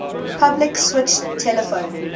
public switched telephone